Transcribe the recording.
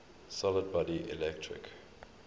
solid body electric